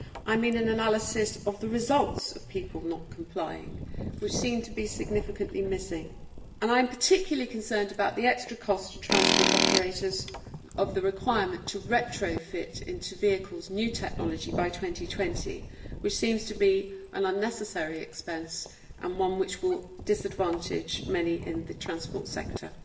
I mean an analysis of the results of people not complying, which seem to be significantly missing. I am particularly concerned about the extra cost to transport operators of the requirement to retrofit into vehicles new technology by 2020, which seems to be an unnecessary expense and one which will disadvantage many in the transport sector.